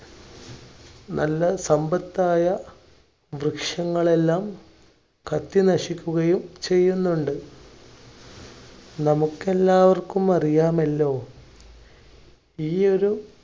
നല്ല സമ്പത്തായ വൃക്ഷങ്ങളെല്ലാം കത്തി നശിക്കുകയും ചെയ്യുന്നുണ്ട്. നമുക്കെല്ലാവർക്കും അറിയാമല്ലോ? ഈ ഒരു